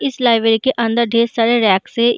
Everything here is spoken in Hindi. इस लाइब्रेरी के अंदर ढेर सारा रैक्स हैं।